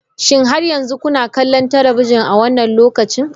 Shin har yanzu kuna kallon talabijin a wannan lokacin?